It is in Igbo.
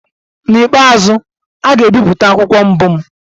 N'ikpeazụ, a ga-ebipụta akwụkwọ mbụ m.